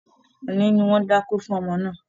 Òní ni wọ́n dákó fún ọmọ náà